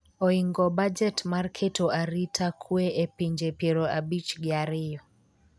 oingo bajet mar keto arita kwe a pinje piero abich gi ariyo